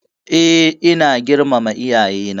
E, ina girmama iyayena.